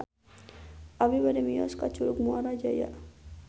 Abi bade mios ka Curug Muara Jaya